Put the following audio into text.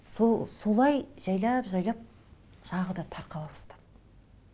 солай жайлап жайлап жағы да тарқала бастады